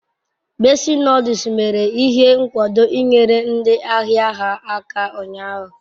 Bessi noduls mere ihe nkwado inyere ndi ahia ha aka unyahu